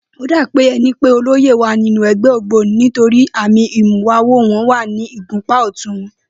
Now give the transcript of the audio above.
Ó dàbí e̩ni pé olóyè wà nínú e̩gbé̩ ògbóni nítorí àmì ìmúwawo wo̩n wà ní ìgúnpá ò̩tún wo̩n